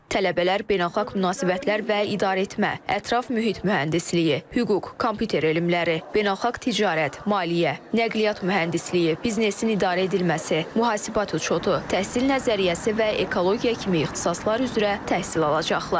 Tələbələr beynəlxalq münasibətlər və idarəetmə, ətraf mühit mühəndisliyi, hüquq, kompüter elmləri, beynəlxalq ticarət, maliyyə, nəqliyyat mühəndisliyi, biznesin idarə edilməsi, mühasibat uçotu, təhsil nəzəriyyəsi və ekologiya kimi ixtisaslar üzrə təhsil alacaqlar.